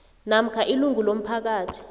namkha ilungu lomphakathi